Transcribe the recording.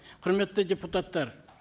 құрметті депутаттар